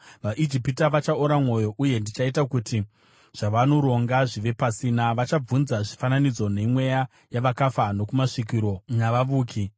VaIjipita vachaora mwoyo, uye ndichaita kuti zvavanoronga zvive pasina; vachabvunza zvifananidzo nemweya yavakafa, nokumasvikiro navavuki.